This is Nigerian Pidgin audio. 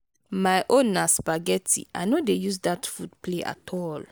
my own na spaghetti. i no dey use dat food play at all.